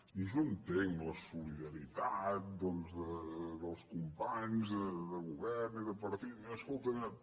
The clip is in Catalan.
i jo entenc la solidaritat doncs dels companys de govern i de partit escolta mira